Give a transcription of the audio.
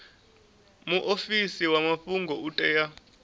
muofisi wa mafhungo u tea